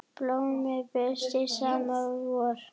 Blómin birtast snemma að vori.